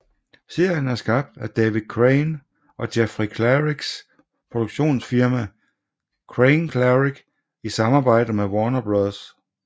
Serien er skabt af David Crane og Jeffrey Klariks produktionsfirma CraneKlarik i samarbejde med Warner Bros